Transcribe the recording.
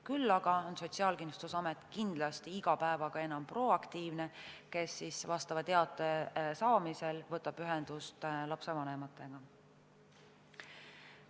Küll aga on Sotsiaalkindlustusamet kindlasti iga päevaga enam proaktiivne ja teate saamise korral võetakse ühendust lapse vanematega.